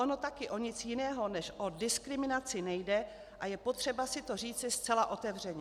Ono také o nic jiného než o diskriminaci nejde a je potřeba si to říci zcela otevřeně.